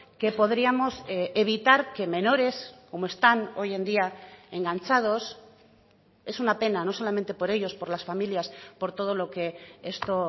que podríamos evitar que menores como están hoy en día enganchados es una pena no solamente por ellos por las familias por todo lo que esto